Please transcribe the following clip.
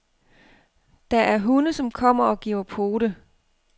Der er hunde, som kommer og giver pote.